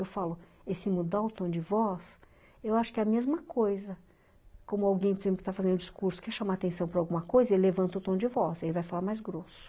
Eu falo, esse mudar o tom de voz, eu acho que é a mesma coisa como alguém que está fazendo um discurso, quer chamar atenção para alguma coisa, ele levanta o tom de voz, aí vai falar mais grosso.